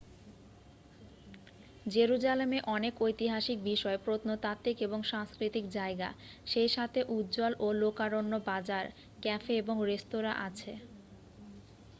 জেরুজালেমে অনেক ঐতিহাসিক বিষয় প্রত্নতাত্ত্বিক এবং সাংস্কৃতিক জায়গা সেই সাথে উজ্জ্বল ও লোকারণ্য বাজার ক্যাফে এবং রেস্তোরাঁ আছে